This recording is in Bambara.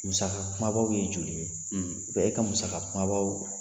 Musaka kumabaw ye joli ye? e ka musaka kumabaw